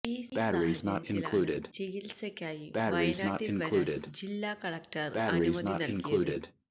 ഈ സാഹചര്യത്തിലാണ് ചികില്സക്കായി വയനാട്ടില് വരാന് ജില്ലാ കലക്ടര് അനുമതി നല്കിയത്